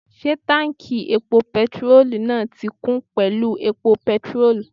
Ṣé táùnkì epo pẹtirólù náà ti kún pẹ̀lú epo pẹtirólù?